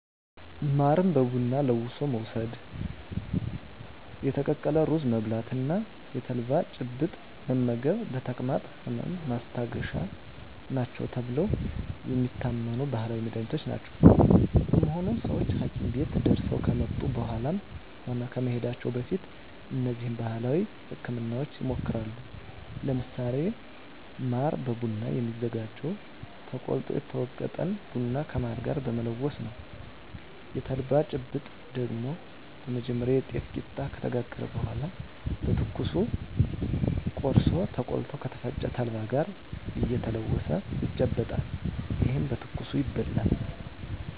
ማርን በቡና ለውሶ መውስድ፣ የተቀቀለ ሩዝ መብላት እና የተልባ ጭብጥ መመገብ ለተቅማጥ ህመም ማስታገሻ ናቸው ተብለው የሚታመኑ ባህላዊ መድሀኒቶች ናቸው። በመሆኑም ሰወች ሀኪም ቤት ደርሰው ከመጡ በኃላም ሆነ ከመሄዳቸው በፊት እነዚህን ባህላዊ ህክምናወች ይሞክራሉ። ለምሳሌ ማር በቡና የሚዘጋጀው ተቆልቶ የተወገጠን ቡና ከማር ጋር በመለወስ ነው። የተልባ ጭብጥ ደግሞ በመጀመሪያ የጤፍ ቂጣ ከተጋገረ በኃላ በትኩሱ ቆርሶ ተቆልቶ ከተፈጨ ተልባ ጋር እየተለወሰ ይጨበጣል። ይህም በትኩሱ ይበላል።